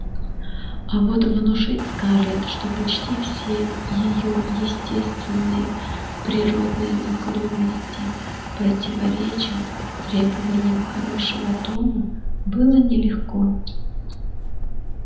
а вот внушить скарлетт что почти все её естественные природные наклонности противоречат требованиям хорошего тона было нелегко